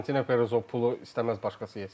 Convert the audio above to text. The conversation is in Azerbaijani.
Fiorentino Perez o pulu istəməz başqası yesin.